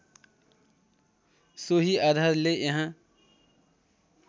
सोही आधारले यहाँ